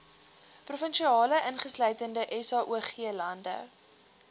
provinsie insluitende saoglande